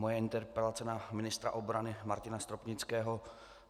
Moje interpelace na ministra obrany Martina Stropnického.